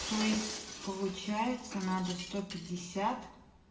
то есть получается надо сто пятьдесят